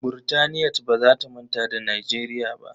Burtaniyat ba za ta manta da Nijeriya ba.